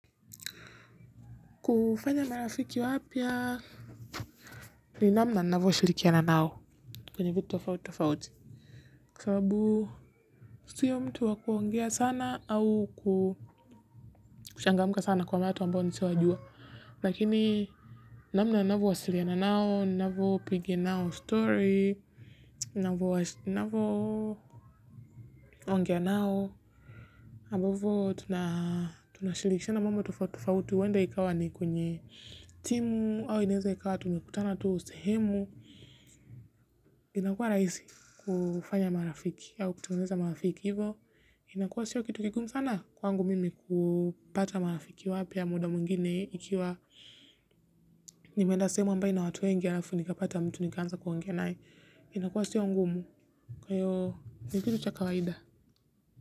Kufanya na rafiki wapya ni namna ninavyo shirikiana nao kwenye vitu tofauti tofauti kwasababu siyo mtu wa kuongea sana au kuchangamka sana kwa watu ambao nisiowajua. Lakini namna ninavyo wasiliana nao, ninavyo piga nao story, ninavyo ongea nao. Ambavyo tunashirikisha na mambo tofauti huenda ikawa ni kwenye simu au inaweza kuwa tumekutana tu sehemu. Inakuwa rahisi kufanya marafiki au kutengeneza marafiki hivo. Inakuwa siyo kitu kigumu sana kwangu mimi kupata marafiki wapya muda mwingine. Ikiwa nimeenda sehemu ina watu wengi alafu nikapata mtu nikanza kuongea nae. Inakua siyo ngumu kwa hiyo ni kitu cha kawaida.